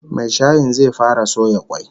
Mai shayin zai fara soya kwai